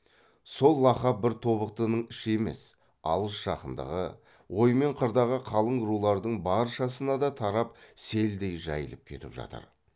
сол лақап бір тобықтының іші емес алыс жақындығы ой мен қырдағы қалың рулардың баршасына да тарап селдей жайылып кетіп жатыр